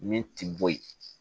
Min ti boyi